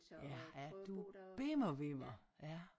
Ja er du bimmer vimmer ja